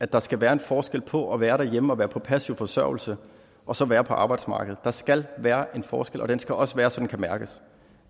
der skal være en forskel på at være derhjemme og være på passiv forsørgelse og så at være på arbejdsmarkedet der skal være en forskel og den skal også være så den kan mærkes